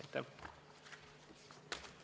Aitäh!